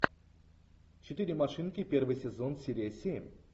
четыре машинки первый сезон серия семь